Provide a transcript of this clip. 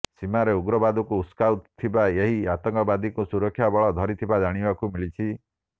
ସୀମାରେ ଉଗ୍ରବାଦକୁ ଉସୁକାଉଥିବା ଏହି ଆତଙ୍କବାଦୀକୁ ସୁରକ୍ଷା ବଳ ଧରିଥିବା ଜାଣିବାକୁ ମିଳିଛି